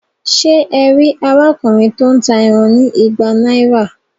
Ṣe e rí arákùnrin to n tá ẹran ní ìgbà náírà?